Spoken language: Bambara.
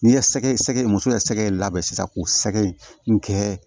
N'i ye sɛgɛ sɛgɛ muso ye sɛgɛ labɛn sisan k'o sɛgɛ in kɛ